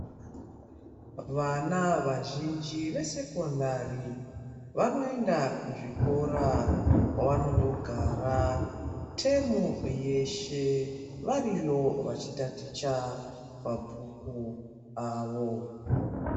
Vana vazhinji vesekondari vanoenda kuzvikora kwavanondogara temu yeshe variyo, vachitaticha mabhuku avo.